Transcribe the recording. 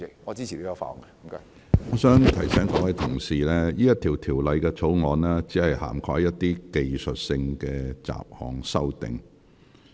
我提醒各位議員，這項條例草案只涵蓋若干技術性的雜項修訂。